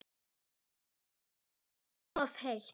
Þú óskar þess of heitt